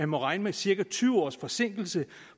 må regne med cirka tyve års forsinkelse